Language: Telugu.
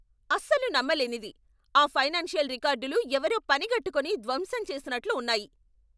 అస్సలు నమ్మలేనిది! ఆ ఫైనాన్షియల్ రికార్డులు ఎవరో పనిగట్టుకుని ధ్వంసం చేసినట్లు ఉన్నాయి!